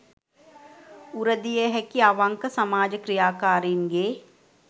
උර දිය හැකි අවංක සමාජ ක්‍රියාකාරීන්ගේ